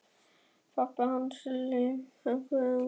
Pabbi hans og Lilla á léttu skrafi frammi á gangi.